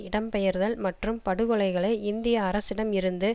இடம் பெயர்தல் மற்றும் படுகொலைகளை இந்திய அரசிடம் இருந்து